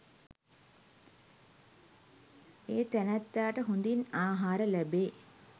ඒ තැනැත්තාට හොඳින් ආහාර ලැබේ.